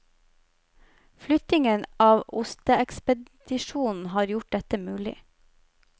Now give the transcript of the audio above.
Flyttingen av osteekspedisjonen har gjort dette mulig.